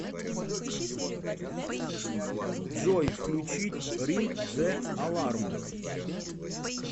джой включить ринг зе аларм